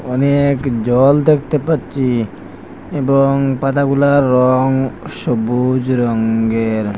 অনেক জল দেখতে পাচ্চি এবং পাতাগুলার রং সবুজ রঙ্গের।